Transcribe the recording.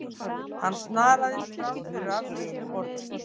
Hann snaraðist fram fyrir afgreiðsluborðið.